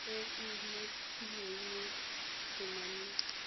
e e umakilweng mo temaneng